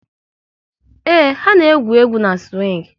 Ee, ha na-egwu egwu n'siwing